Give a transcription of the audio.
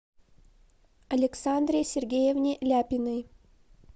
александре сергеевне ляпиной